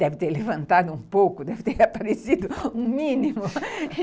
Deve ter levantado um pouco, deve ter aparecido um mínimo.